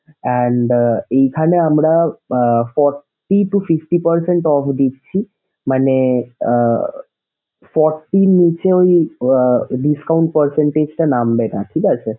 and আহ এইখানে আমরা আহ forty to fifty percent off দিচ্ছি মানে আহ forty র নিচে আহ discount percentage টা নামবে না ঠিক আছে sir